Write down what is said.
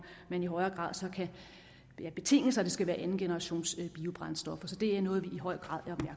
man i højere grad så kan betinge sig at det skal være andengenerationsbiobrændstoffer så det er noget vi i høj grad